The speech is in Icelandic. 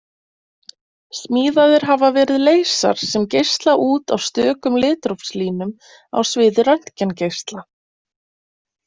Smíðaðir hafa verið leysar sem geisla út á stökum litrófslínum á sviði röntgengeisla.